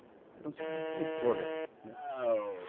Ele era um tipo de controle